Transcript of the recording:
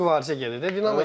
Mübarizə gedir də.